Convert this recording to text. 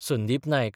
Sandeep Naik